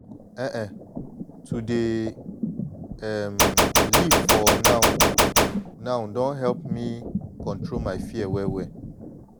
ehn[um]to dey um live for now-now don help me control my fear well-well.